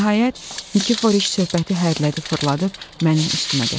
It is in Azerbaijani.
Nəhayət, Nikiforiç söhbəti hərələdi, fırladıb mənim üstümə gətirdi.